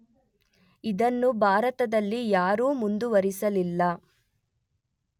ಇದನ್ನು ಭಾರತದಲ್ಲಿ ಯಾರೂ ಮುಂದುವರಿಸಲಿಲ್ಲ.